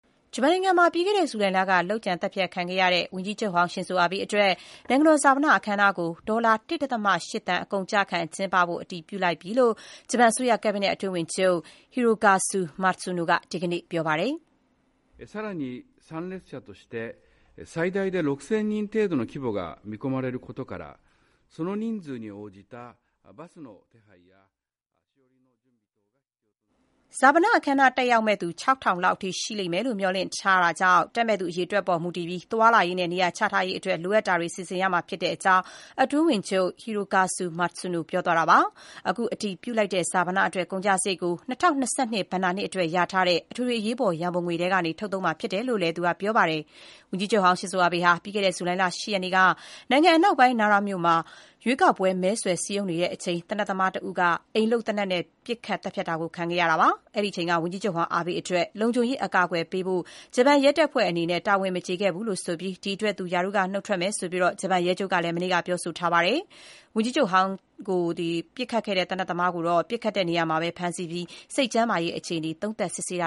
ဂျပန်နိုင်ငံမှာ ပြီးခဲ့တဲ့ဇူလိုင်လက လုပ်ကြံသတ်ဖြတ်ခံခဲ့ရတဲ့ ဝန်ကြီးချုပ်ဟောင်း ရှင်ဇိုအာဘေးအတွက် နိုင်ငံတော်ဈာပနအခမ်းအနားကို ဒေါ်လာ ၁.၈ သန်း အကုန်အကျခံကျင်းဖို့ အတည်ပြုလိုက်ပြီလို့ ဂျပန်အစိုးရကတ်ဘိနက်အတွင်းဝန်ချုပ် Hirokazu Matsuno က ဒီကနေ့ ပြောပါတယ်။ "ဈာပနအခမ်းအနားတက်ရောက်မယ့်သူ ၆,၀၀၀ လောက်အထိ ရှိမယ်လို့ မျှော်လင့်ထားတာကြောင့် တက်မယ့်သူအရေအတွက်ပေါ်မူတည်ပြီး သွားလာရေးနဲ့ နေရာချထားရေးအတွက် လိုအပ်တာတွေ စီစဉ်ရမှာဖြစ်တဲ့ကြောင်း” အတွင်းဝန်ချုပ် Hirokazu Matsuno က ပြောသွားတာပါ။ အခုအတည်ပြုလိုက်တဲ့ ဈာပနအတွက်ကုန်ကျစရိတ်ကို ၂၀၂၂ ဘဏ္ဍာနှစ်အတွက် လျာထားတဲ့ အထွေထွေအရေးပေါ် ရန်ပုံငွေထဲကနေ ထုတ်သုံးသွားမှာဖြစ်တယ်လို့လည်း မစ္စတာ Matsuno က ပြောပါတယ်။ ဝန်ကြီးချုပ်ဟောင်း ရှင်ဇိုအာဘေး ဟာ ပြီးခဲ့တဲ့ ဇူလိုင်လ ၈ ရက်နေ့က နိုင်ငံအနောက်ပိုင်း Nara မြို့မှာ ရွေးကောက် ပွဲ မဲဆွယ်စည်းရုံးနေတဲ့အချိန် သေနတ်သမားတဦးက အိမ်လုပ်သေနတ်နဲ့ ပစ်ခတ် သတ်ဖြတ်ခဲ့တာ ခံခဲ့ရတာပါ။ အဲ့ဒီအချိန်က ဝန်ကြီးချုပ်ဟောင်း အာဘေးအတွက် လုံခြုံရေး အကာအကွယ်ပေးဖို့ ဂျပန်ရဲတပ်ဖွဲ့အနေနဲ့ တာဝန်မကျေခဲ့ဘူးလို့ဆိုပြီး ဒီအတွက် သူရာထူးက နုတ်ထွက်မယ့်အကြောင်း ဂျပန်ရဲချုပ်က မနေ့ကပဲ ပြောဆိုထားပါတယ်။ ဝန်ကြီးချုပ်ဟောင်းကို သေနတ်သမားကိုတော့ ပစ်ခတ်တဲ့နေရာမှာပဲ ဖမ်းဆီးခဲ့ပြီး စိတ်ကျန်းမာရေး အခြေအနေ သုံးသပ် စစ်ဆေးတ